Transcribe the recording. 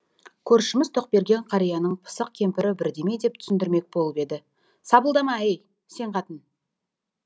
көршіміз тоқберген кәрияның пысық кемпірі бірдеме деп түсіндірмек болып еді сапылдама ей сен қатын